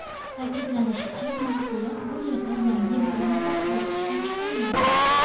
Ta’kidlanishicha, mahsulot bu yerda yangi brend ostida ishlab chiqariladi.